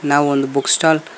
ನಾವು ಒಂದು book stall --